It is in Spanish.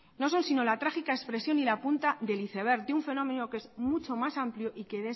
no son sino la trágica expresión y la punta del iceberg de un fenómeno que es mucho más amplio y que es